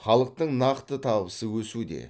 халықтың нақты табысы өсуде